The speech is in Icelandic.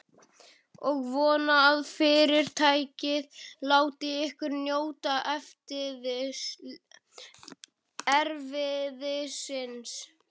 Ég vona, að Fyrirtækið láti ykkur njóta erfiðisins.